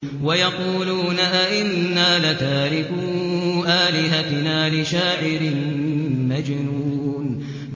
وَيَقُولُونَ أَئِنَّا لَتَارِكُو آلِهَتِنَا لِشَاعِرٍ مَّجْنُونٍ